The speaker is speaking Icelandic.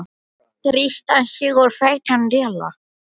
Þar er hún kölluð Nanna rauða, veit ég.